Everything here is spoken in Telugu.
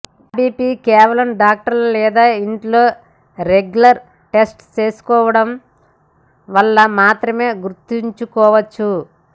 హబిపి కేవలం డాక్టర్లు లేదా ఇంట్లో రెగ్యులర్ టెస్ట్ చేసుకోవడం వల్ల మాత్రమే గుర్తించుకోవచ్చు